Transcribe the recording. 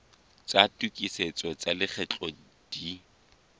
tsa tokisetso tsa lekgetho di